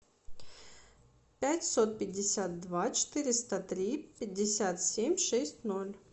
пятьсот пятьдесят два четыреста три пятьдесят семь шесть ноль